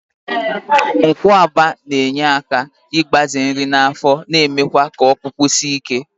Nkwuaba na-enye aka ịgbaze nri n'afọ, na-emekwa k'ọkpụkpụ sie ike.